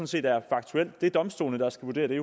set er faktuelt det er jo domstolene der skal vurdere det